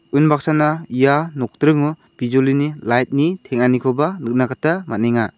unbaksana ia nokdringo bijolini lait ni teng·anikoba nikna gita man·enga.